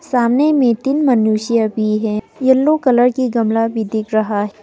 सामने में तीन मनुष्य भी है येलो कलर के गमला भी दिख रहा है।